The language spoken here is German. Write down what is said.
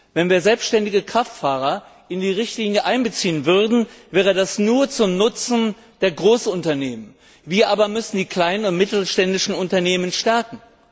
Wenn wir selbständige Kraftfahrer in die Richtlinie einbeziehen würden, wäre das nur zum Nutzen der Großunternehmen. Wir müssen aber die kleinen und mittelständischen Unternehmen stärken.